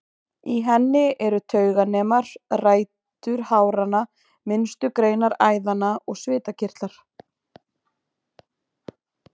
Í henni eru tauganemar, rætur háranna, minnstu greinar æðanna og svitakirtlar.